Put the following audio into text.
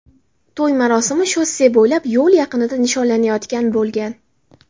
To‘y marosimi shosse bo‘ylab yo‘l yaqinida nishonlanayotgan bo‘lgan.